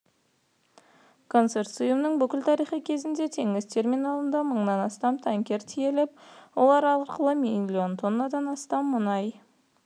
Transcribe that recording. консорциумның бүкіл тарихы кезінде теңіз терминалында мыңнан астам танкер тиеліп олар арқылы миллион тоннадан астам мұнай